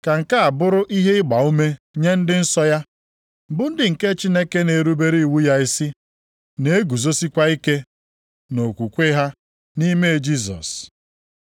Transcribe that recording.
Ka nke a bụrụ ihe ịgbaume nye ndị nsọ ya, bụ ndị nke Chineke na-erubere iwu ya isi, na-eguzosikwa ike nʼokwukwe ha nʼime Jisọs.”